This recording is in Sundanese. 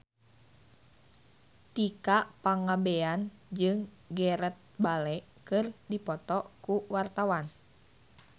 Tika Pangabean jeung Gareth Bale keur dipoto ku wartawan